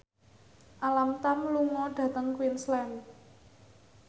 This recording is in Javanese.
Alam Tam lunga dhateng Queensland